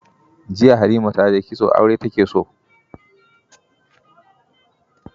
Jiya Halima ta je kitso, aure take so.